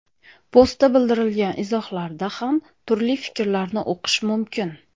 Postga bildirilgan izohlarda ham turli fikrlarni o‘qish mumkin.